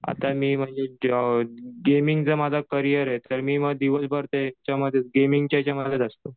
आता मी म्हणजे गेमिंग चा माझा करियर आहे मी मग दिवसभर त्या गेमिंगच्या याच्यामध्येच असतो.